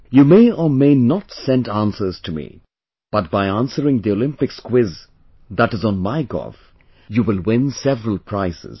you may or may not send answers to me, but by answering the Olympics quiz that is on MyGov you will win several prizes